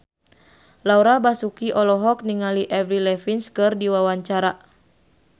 Laura Basuki olohok ningali Avril Lavigne keur diwawancara